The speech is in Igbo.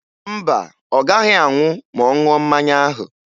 Mba, ọ gaghị anwụ ma ọ ṅụọ mmanya ahụ